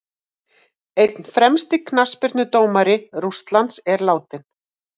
Einn fremsti knattspyrnudómari Rússlands er látinn.